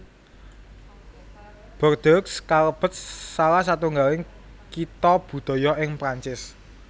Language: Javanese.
Bordeaux kalebet salah satunggaling Kitha Budaya ing Prancis